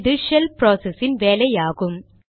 இது shell process இன் வேலை ஆகும்